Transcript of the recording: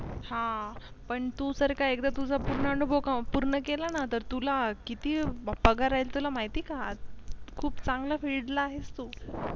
हा पण तु जर का एकदा तुझ पुर्ण अनुभव पुर्ण केला न तर तुला किति पगार राहिल तुला माहिति आहे का? खुप चांगल्या field ला आहेस बर तु